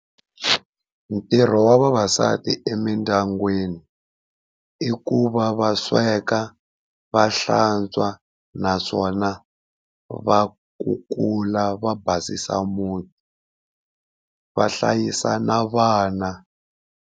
Ntirho wa vavasati emindyangwini i ku va va sweka, va hlantswa naswona va kukula va basisa muti, va hlayisa na vana.